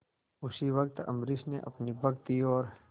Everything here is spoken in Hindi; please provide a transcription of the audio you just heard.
उसी वक्त अम्बरीश ने अपनी भक्ति और